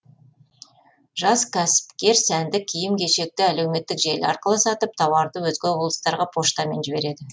жас кәсіпкер сәнді киім кешекті әлеуметтік желі арқылы сатып тауарды өзге облыстарға поштамен жібереді